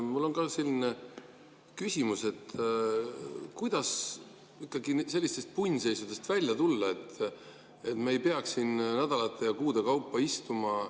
Mul on ka küsimus, kuidas ikkagi sellistest punnseisudest välja tulla, et me ei peaks siin nädalate ja kuude kaupa istuma.